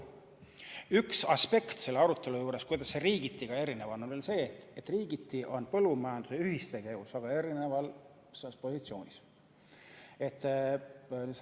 Üks aspekt selle arutelu juures, kuidas olukord riigiti erinev on, on see, et riigiti on põllumajanduse ühistegevus väga erinevas positsioonis.